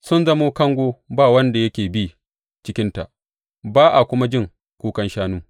Sun zama kango ba wanda yake bi cikinta, ba a kuma jin kukan shanu.